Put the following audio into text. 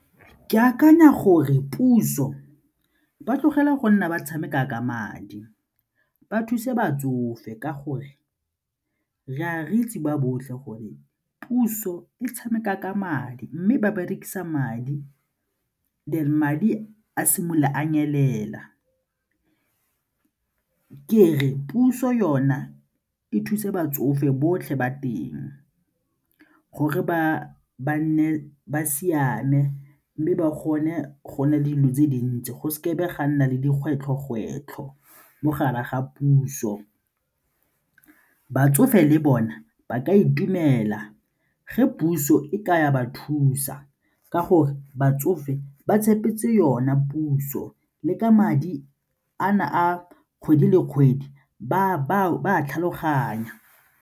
Ke akanya gore puso ba tlogela go nna ba tshameka ka madi, ba thuse batsofe ka gore re a re itse ba botlhe gore puso e tshameka ka madi mme ba berekisa madi then madi a simolola a nyelela ke re puso yona e thuse batsofe botlhe ba teng gore ba tle ba nne ba siame mme ba kgone go na le dilo tse dintsi go seke be ga nna le dikgwetlho-kgwetlho mo gare ga puso. Batsofe le bona ba ka itumela ge puso e ka ba thusa ka gore batsofe ba tshepetse yone puso le ka madi a na a kgwedi le kgwedi ba a tlhaloganya.